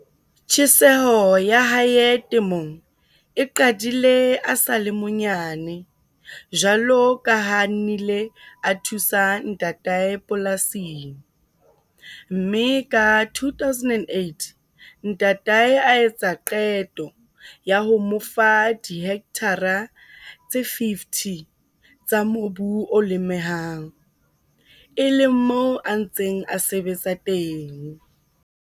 Tjheseho ya hae temong e qadile a sa le monyane jwalo ka ha a nnile a thusa ntatae polasing, mme ka 2008 ntatae a etsa qeto ya ho mo fa dihekthara tse 50 tsa mobu o lemehang, e leng moo a ntseng a sebetsa teng.